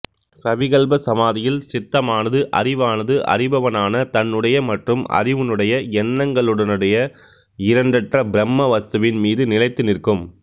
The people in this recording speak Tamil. சவிகல்ப சமாதியில் சித்தமானது அறிவானது அறிபவனான தன்னுடைய மற்றும் அறிவினுடைய எண்ணங்களுடனயே இரண்டற்ற பிரம்ம வஸ்துவின் மீது நிலைத்து நிற்கும்